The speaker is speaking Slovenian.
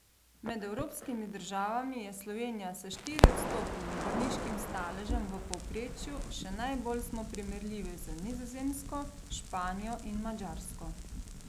Med evropskimi državami je Slovenija s štiriodstotnim bolniškim staležem v povprečju, še najbolj smo primerljivi z Nizozemsko, Španijo in Madžarsko.